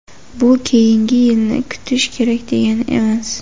Bu keyingi yilni kutish kerak degani emas.